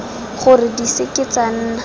gore di seke tsa nna